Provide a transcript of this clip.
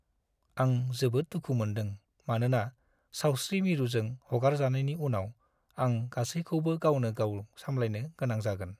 आं जोबोद दुखु मोन्दों मानोना सावस्रि मिरुजों हगारजानायनि उनाव आं गासैखौबो गावनो-गाव सामलायनो गोनां जागोन।